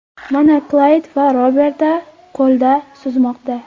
Mana Klayd va Roberta ko‘lda suzmoqda.